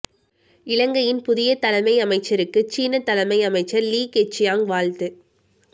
இலங்கையின் புதிய தலைமை அமைச்சருக்கு சீனத் தலைமை அமைச்சர் லீ கெச்சியாங் வாழ்த்து